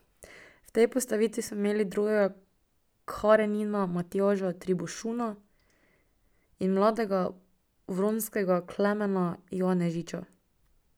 V tej postavitvi smo imeli drugega Karenina Matjaža Tribušona in mladega Vronskega Klemena Janežiča.